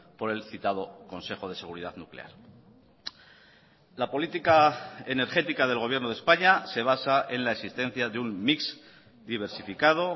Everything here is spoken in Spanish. por el citado consejo de seguridad nuclear la política energética del gobierno de españa se basa en la existencia de un mix diversificado